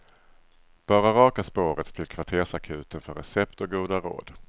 Bara raka spåret till kvartersakuten för recept och goda råd.